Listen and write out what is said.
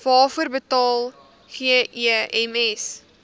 waarvoor betaal gems